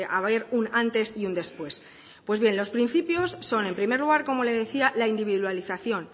a haber un antes y un después pues bien los principios son en primer lugar como le decía la individualización